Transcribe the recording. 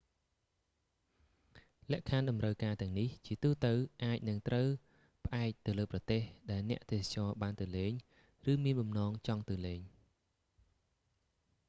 លក្ខខណ្ឌតម្រូវការទាំងនេះជាទូទៅអាចនឹងត្រូវផ្អែកទៅលើប្រទេស ដែលអ្នកទេសចរបានទៅលេង ឬមានបំណងចង់ទៅលេង